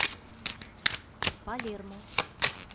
палермо